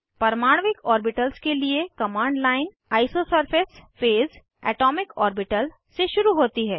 परमाण्विक orbitals के लिए command line isosurface phase atomic orbital से शुरू होती है